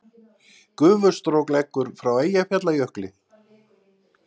Gufustrók leggur frá Eyjafjallajökli